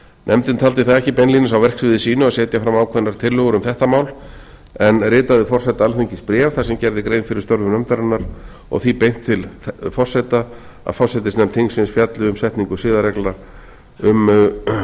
nefndin taldi það ekki beinlínis á verksviði sínu að setja fram ákveðnar tillögur þetta mál en ritaði forseta alþingis bréf þar sem gerð er grein fyrir störfum nefndarinnar og því beint til forseta að forsætisnefnd þingsins fjalli um setningu